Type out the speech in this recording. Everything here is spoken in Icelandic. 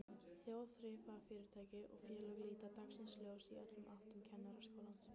Þjóðþrifafyrirtæki og félög líta dagsins ljós í öllum áttum, Kennaraskólinn